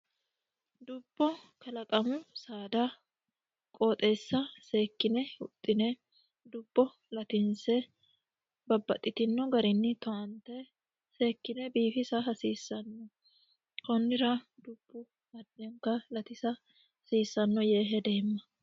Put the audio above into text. Dubbo kalaqamu saada qooxeessa seekine huxine dubbo latinse babaxitino garinni towante seekine biifisa hasiisano konnira dubu adinta latisa hasiisano yee hedeemma.